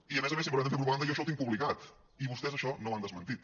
i a més a més si em permeten fer propaganda jo això ho tinc publicat i vostès això no ho han desmentit